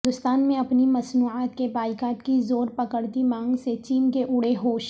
ہندوستان میں اپنی مصنوعات کے بائیکاٹ کی زور پکڑتی مانگ سے چین کے اڑے ہوش